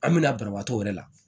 An bɛna banabaatɔ yɛrɛ la